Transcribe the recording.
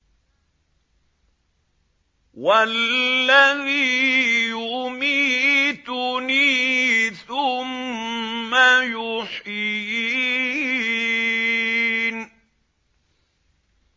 وَالَّذِي يُمِيتُنِي ثُمَّ يُحْيِينِ